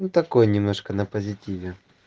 ну такой немножко на позитиве